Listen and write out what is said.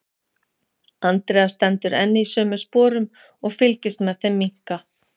Andrea stendur enn í sömu sporum og fylgist með þeim minnka.